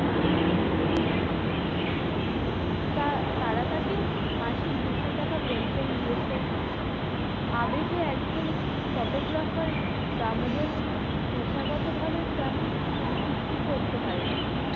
তারা তাকে মাসিক দুশো টাকা pension দিয়েছে আবেগে একজন photographer দামোদর পেশাগত ভাবে তেমন কিছুই করতে পারেন নি।